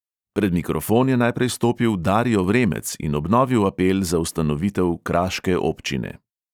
Pred mikrofon je najprej stopil dario vremec in obnovil apel za ustanovitev kraške občine.